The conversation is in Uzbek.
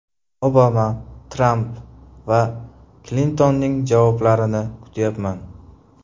Obama, Tramp va Klintonning javoblarini kutyapman.